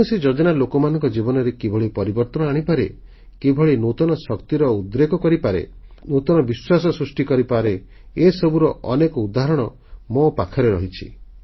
କୌଣସି ଯୋଜନା ଲୋକମାନଙ୍କ ଜୀବନରେ କିଭଳି ପରିବର୍ତ୍ତନ ଆଣିପାରେ କିଭଳି ନୂତନ ଶକ୍ତିର ଉଦ୍ରେକ କରିପାରେ ନୂତନ ବିଶ୍ୱାସ ସୃଷ୍ଟି କରେ ଏସବୁର ଅନେକ ଉଦାହରଣ ମୋ ପାଖରେ ଅଛି